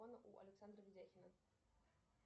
у александра видяхина